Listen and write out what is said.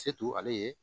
ale ye